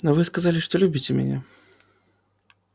но вы сказали что любите меня